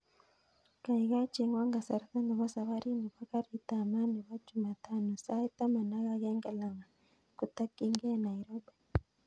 Kaikai chengwon kasarta nebo saparit nebo garit ab maat nebo chumatano sait taman ak agenge langat kotokyingei nairobi